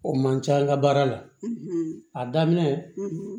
O man ca an ka baara la a daminɛ